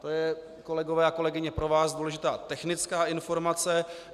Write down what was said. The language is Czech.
To je, kolegyně a kolegové, pro vás důležitá technická informace.